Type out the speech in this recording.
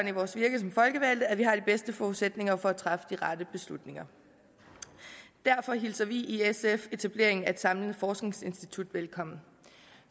i vores virke som folkevalgte at vi har de bedste forudsætninger for at træffe de rette beslutninger derfor hilser vi i sf etableringen af et samlet forskningsinstitut velkommen